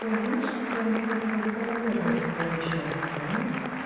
ты знаешь какая интересная закономерность получается то а